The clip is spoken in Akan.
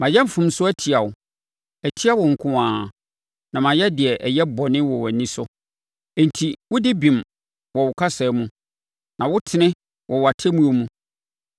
Mayɛ mfomsoɔ atia wo; atia wo nko ara na mayɛ deɛ ɛyɛ bɔne wɔ wʼani so, enti, wodi bem wɔ wo kasa mu na wotene wɔ wʼatemmuo mu.